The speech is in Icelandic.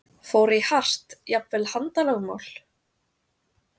Fór í hart, jafnvel handalögmál?